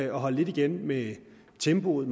at holde lidt igen med tempoet